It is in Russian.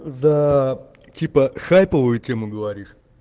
за типа хайповые темы говоришь